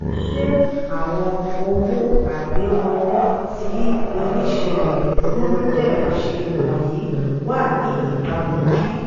ṣé àwọn owó agbéwọlé tí oníṣirò gurudev ṣe wọ̀nyìí wa ní ìbàmu bí?